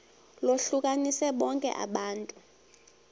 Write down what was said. lohlukanise bonke abantu